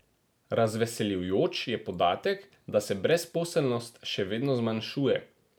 Razveseljujoč je podatek, da se brezposelnosti še vedno zmanjšuje.